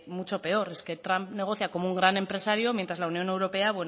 mucho peor es que trump negocia como un gran empresario mientas la unión europa